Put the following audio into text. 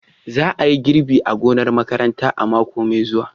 Za a yi girbi a gonar makarantar a mako mai zuwa.